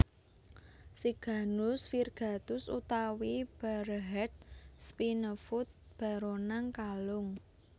Siganus Virgatus utawi Barehead Spinefoot baronang kalung